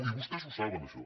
i vostès ho saben això